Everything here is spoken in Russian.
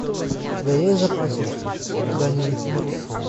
у тебя есть в запасе все когда нибудь умрут